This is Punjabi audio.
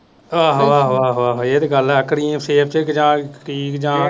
ਆਹੋ ਆਹੋ ਆਹੋ ਆਹੋ ਇਹ ਤੇ ਗੱਲ ਆਖਣੀ ਫਿਰ